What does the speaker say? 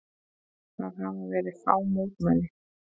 Það hafa verið fá mótmæli